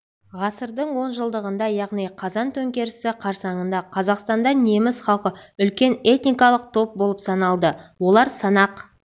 ғасырдың онжылдығында яғни қазан төңкерісі қарсаңында қазақстанда неміс халқы үлкен этникалық топ болып саналды олар санақ